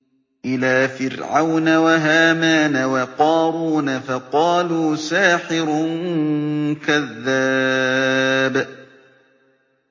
إِلَىٰ فِرْعَوْنَ وَهَامَانَ وَقَارُونَ فَقَالُوا سَاحِرٌ كَذَّابٌ